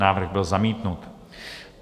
Návrh byl zamítnut.